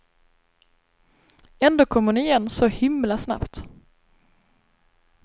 Ändå kom hon igen så himla snabbt.